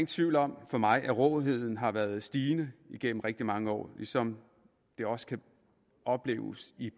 tvivl om for mig at råheden har været stigende igennem rigtig mange år ligesom det også kan opleves